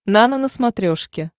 нано на смотрешке